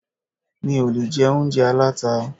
Mi ò lè jẹ oúnjẹ aláta.